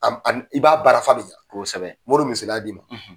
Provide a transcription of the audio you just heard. A ani ani i b'a baara f'a bɛ ɲɛ, kosɛbɛ, me n'o misaliya d'i ma.